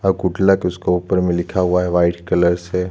अउ पुतला के उसके ऊपर में लिखा हुआ है वाइट कलर से--